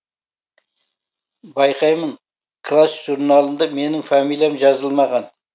байқаймын класс журналында менің фамилиям жазылмаған